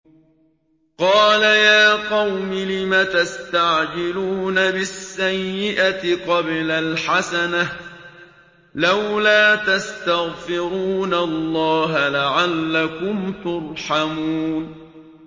قَالَ يَا قَوْمِ لِمَ تَسْتَعْجِلُونَ بِالسَّيِّئَةِ قَبْلَ الْحَسَنَةِ ۖ لَوْلَا تَسْتَغْفِرُونَ اللَّهَ لَعَلَّكُمْ تُرْحَمُونَ